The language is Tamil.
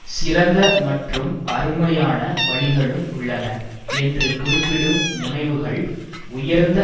சிறந்த மற்றும் அருமையான வழிகளும் உள்ளன என்று குறிப்பிடும் முனைவுகள் உயர்ந்த